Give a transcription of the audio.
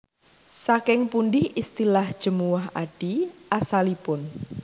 Saking pundi istilah Jemuwah Adi asalipun